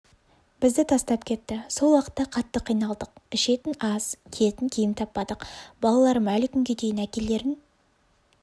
бізді тастап кетті сол уақытта қатты қиналдық ішетінас киетінкиім таппадық балаларым әлі күнге дейін әкелерін